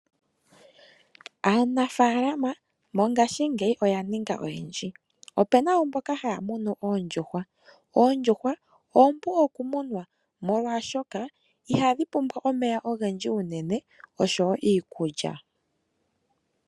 Aanafaalama mongaashingeyi oya ninga oyendji opuna wo mboka haya munu oondjuhwa ,oondjuhwa oompu okumunwa molwashoka ihadhi pumbwa omeya ogendji unene osho wo iikulya.